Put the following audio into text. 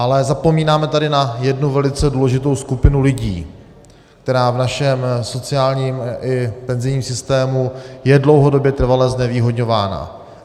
Ale zapomínáme tady na jednu velice důležitou skupinu lidí, která v našem sociálním i penzijním systému je dlouhodobě trvale znevýhodňována.